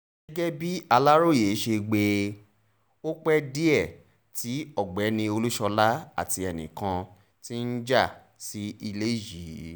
gẹ́gẹ́ bàlàròyé ṣe gbọ́ ọ pé díẹ̀ tí ọ̀gbẹ́ni olúṣọlá àti ẹnìkan ti ń já sí ilé yìí